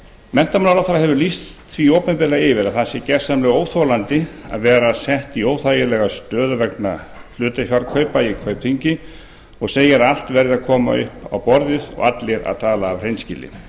menntamálaráðherra hefur lýst opinberlega yfir að það sé gjörsamlega óþolandi að vera sett í óþægilega stöðu vegna hlutafjárkaupa í kaupþingi og segir að allt verði að koma upp á borðið og allir að tala af hreinskilni